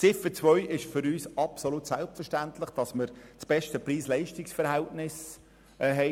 Zu Ziffer 2: Es ist für uns absolut selbstverständlich, dass wir das beste Preis-Leistungs-Verhältnis haben.